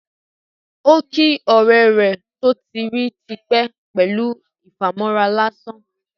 Ó kí ọ̀rẹ́ rẹ̀ tó ti rí tí pẹ́ pẹlú ìfàmọ́ra lásán